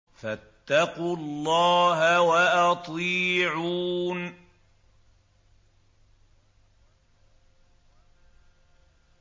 فَاتَّقُوا اللَّهَ وَأَطِيعُونِ